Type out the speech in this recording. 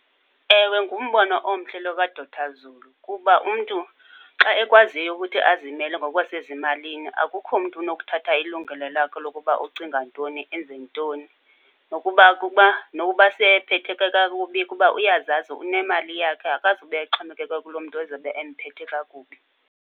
Ewe, ngumbono omhle lo kaDr Zulu kuba umntu xa ekwaziyo ukuthi azimele ngokwasezimalini, akukho mntu unokuthatha ilungelo lakho lokuba ucinga ntoni, enze ntoni. Nokuba kukuba, nokuba seyephetheke kakubi kuba uyazazi unemali yakhe, akazube exhomekeke kuloo mntu ezobe emphethe kakubi.